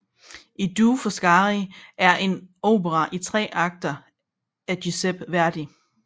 I due Foscari er en opera i tre akter af Giuseppe Verdi